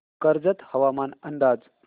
कर्जत हवामान अंदाज